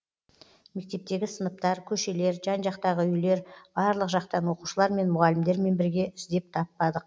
мектептегі сыныптар көшелер жан жақтағы үйлер барлық жақтан оқушылар мен мұғалімдермен бірге іздеп таппадық